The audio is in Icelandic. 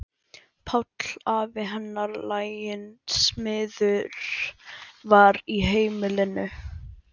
Páll afi hennar, laginn smiður, var í heimilinu.